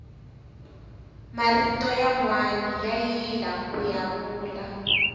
marito yanwani ya yila kuya vula